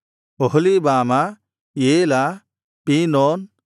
Oholibamah Elah ಪೀನೋನ್